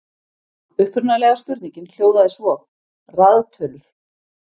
Upprunalega spurningin hljóðaði svo: Raðtölur.